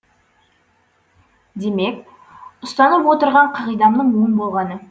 демек ұстанып отырған қағидамның оң болғаны